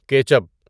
ketchup